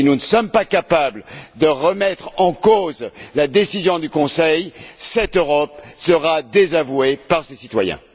Si nous ne sommes pas capables de remettre en cause la décision du Conseil, cette Europe sera désavouée par ses citoyens.